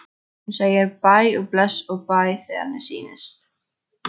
Hún segir hæ og bless og bæ þegar henni sýnist!